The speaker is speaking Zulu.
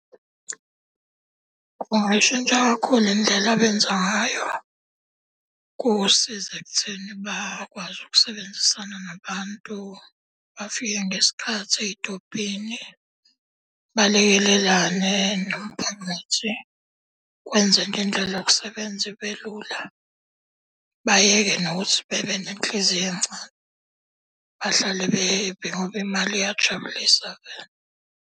Kungayishintsha kakhulu indlela abenza ngayo. Kusiza ekutheni bakwazi ukusebenzisana nabantu, bafike ngesikhathi ey'tobhini, balekelelane nomphakathi. Kwenza indlela yokusebenza ibe lula. Bayeke nokuthi bebe nenhliziyo encane. Bahlale be-happy ngoba imali iyajabulisa vele.